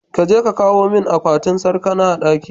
kaje ka kawu min akwatin sarkana a ɗaki.